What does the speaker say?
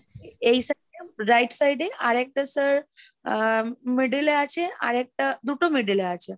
এই sideএ, Right side এ আরেকটা sir আহ middle এ আছে আর একটা, দুটো middle এ আছে।